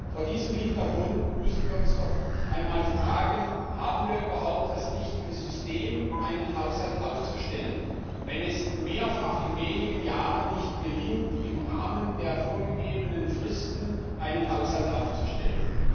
Vor diesem Hintergrund müssen wir uns doch einmal fragen Haben wir überhaupt das richtige System, einen Haushalt aufzustellen, wenn es in wenigen Jahren mehrfach nicht gelingt, im Rahmen der vorgegebenen Fristen einen Haushalt aufzustellen?